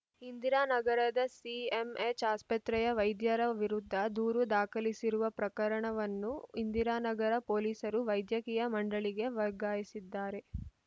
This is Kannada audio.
ಇಂದಿರಾ ನಗರದ ಸಿಎಂಎಚ್‌ ಆಸ್ಪತ್ರೆಯ ವೈದ್ಯರ ವಿರುದ್ಧ ದೂರು ದಾಖಲಿಸಿರುವ ಪ್ರಕರಣವನ್ನು ಇಂದಿರಾನಗರ ಪೊಲೀಸರು ವೈದ್ಯಕೀಯ ಮಂಡಳಿಗೆ ವರ್ಗಾಯಿಸಿದ್ದಾರೆ